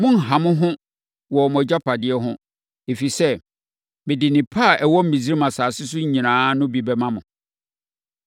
Monnha mo ho wɔ mo agyapadeɛ ho, ɛfiri sɛ, mede nnepa a ɛwɔ Misraim asase so nyinaa no bi bɛma mo.’ ”